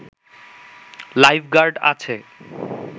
life guard আছে